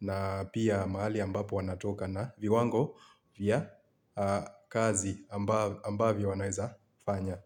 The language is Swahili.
na pia mahali ambapo wanatoka na viwango vya kazi ambavyo wanaeza fanya.